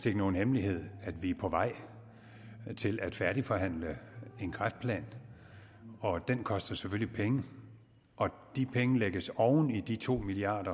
er nogen hemmelighed at vi er på vej til at færdigforhandle en kræftplan den koster selvfølgelig penge og de penge lægges oven i de to milliard